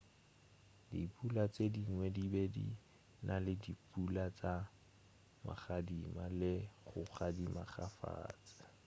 dipula tše dingwe di be di na le dipula tša magadima le go gadima kgafetša